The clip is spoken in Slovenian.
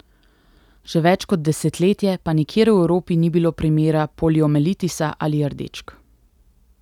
Že več kot desetletje pa nikjer v Evropi ni bilo primera poliomelitisa ali rdečk.